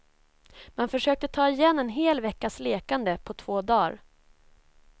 Man försökte ta igen en hel veckas lekande på två dar.